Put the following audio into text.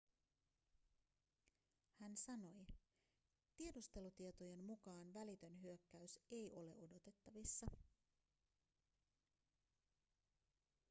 hän sanoi tiedustelutietojen mukaan välitön hyökkäys ei ole odotettavissa